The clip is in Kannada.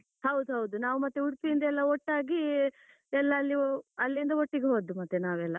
ಹೌದು ಹೌದು, ನಾವು ಮತ್ತೆ ನಾವು ಉಡುಪಿ ಇಂದ ಎಲ್ಲ ಒಟ್ಟಾಗಿ, ಎಲ್ಲ ಅಲ್ಲಿ ಅಲ್ಲಿಂದ ಒಟ್ಟಿಗೆ ಹೋದ್ದು ಮತ್ತೆ ನಾವೆಲ್ಲ.